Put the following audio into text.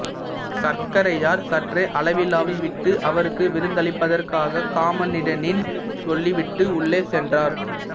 சர்க்கரையார் சற்றே அளவளாவி விட்டு அவருக்கு விருந்தளிப்பதற்காக காமிண்டனிடம் சொல்லிவிட்டு உள்ளே சென்றார்